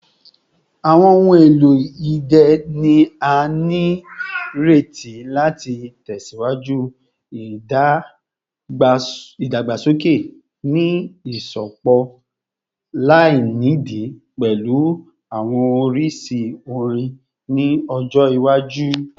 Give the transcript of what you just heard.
Awọn ohun elo idẹ ni a nireti lati tẹsiwaju idagbasoke, ni iṣọpọ lainidi pẹlu awọn oriṣi orin ni ọjọ iwaju.